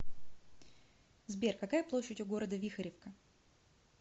сбер какая площадь у города вихоревка